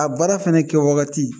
A baara fana kɛwagati